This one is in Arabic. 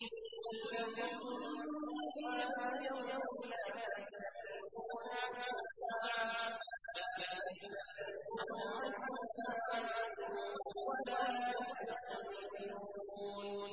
قُل لَّكُم مِّيعَادُ يَوْمٍ لَّا تَسْتَأْخِرُونَ عَنْهُ سَاعَةً وَلَا تَسْتَقْدِمُونَ